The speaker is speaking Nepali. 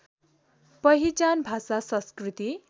पहिचान भाषा संस्कृति